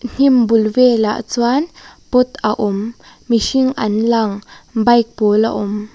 hnim bul velah chuan pot a awm mihring an lang bike pawl a awm.